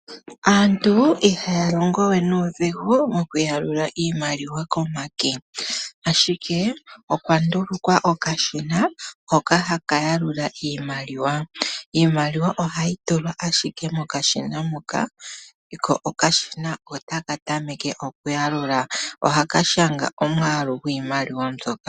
Aantu ihaalongowe nuudhigu, oku yalula iimaliwa komake, ashike okwandulukwa okashina hono haka ya lula iimaliwa. Iimaliwa ohayi tulwa ashike mokashina ko okashina taka tameke oku ya lula nokushanga omwaalu gwiimaliwa ndjoka.